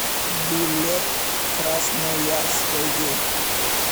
билет красноярское